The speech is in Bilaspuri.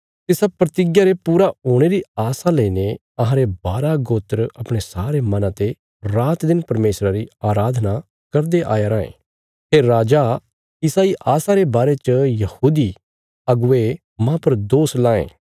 तिसा प्रतिज्ञा रे पूरे हुणे री आशा लाईने अहांरे बारा गोत्र अपणे सारे मना ते रात दिन परमेशरा री अराधना करदे आया रायें हे राजा इसा इ आशा रे बारे च यहूदी अगुवे मांह पर दोष लांये